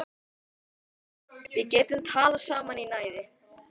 Við getum talað saman í næði